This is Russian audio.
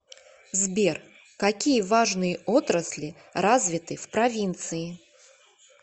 сбер какие важные отрасли развиты в провинции